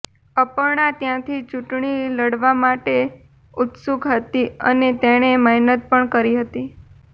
અપર્ણા ત્યાંથી ચૂંટણી લડવા માટે ઉત્સુક હતી અને તેણે મહેનત પણ કરી હતી